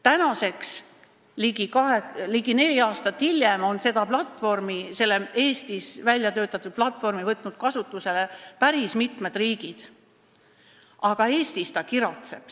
Tänaseks, ligi neli aastat hiljem on selle Eestis väljatöötatud platvormi võtnud kasutusele päris mitmed riigid, aga Eestis ta kiratseb.